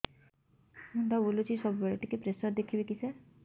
ମୁଣ୍ଡ ବୁଲୁଚି ସବୁବେଳେ ଟିକେ ପ୍ରେସର ଦେଖିବେ କି ସାର